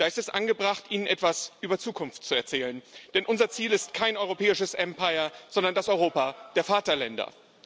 Da ist es angebracht, Ihnen etwas über Zukunft zu erzählen, denn unser Ziel ist kein europäisches Empire, sondern das Europa der Vaterländer.